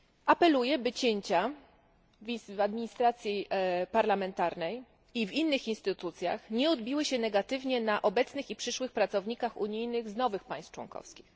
Apeluję, by cięcia w administracji parlamentarnej i w innych instytucjach nie odbiły się negatywnie na obecnych i przyszłych pracownikach unijnych z nowych państw członkowskich.